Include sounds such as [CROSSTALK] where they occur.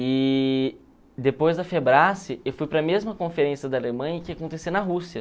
E depois da [UNINTELLIGIBLE] eu fui para a mesma conferência da Alemanha que ia acontecer na Rússia.